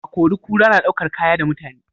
Akori-kura na ɗaukar Kaya da mutane